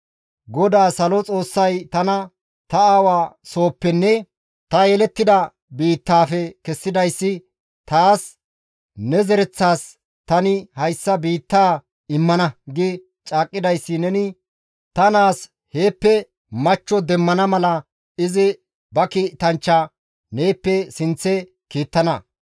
GODAA salo Xoossay tana ta aawa sohoppenne ta yelettida biittaafe kessidayssi taas, ‹Ne zereththas tani hayssa biittaa immana› gi caaqqidayssi neni ta naas heeppe machcho demmana mala izi ba kiitanchcha neeppe sinththe kiittana.